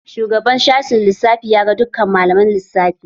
Shugaban sashen lissafi ya ga dukkan malaman lissafi.